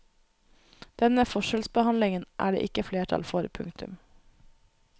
Denne forskjellsbehandlingen er det ikke flertall for. punktum